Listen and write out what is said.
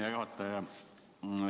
Hea juhataja!